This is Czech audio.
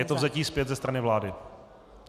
Je to vzetí zpět ze strany vlády.